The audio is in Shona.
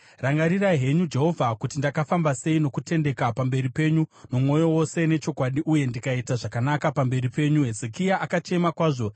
“Rangarirai henyu, Jehovha, kuti ndakafamba sei nokutendeka pamberi penyu nomwoyo wose nechokwadi uye ndikaita zvakanaka pamberi penyu.” Hezekia akachema kwazvo.